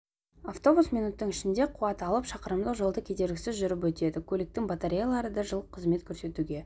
автобус минуттың ішінде қуат алып шақырымдық жолды кедергісіз жүріп өтеді көліктің батареялары да жыл қызмет көрсетуге